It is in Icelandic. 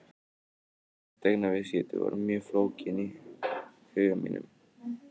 Fasteignaviðskipti voru mjög flókin í huga mínum og fjarri því að vera raunhæfur möguleiki.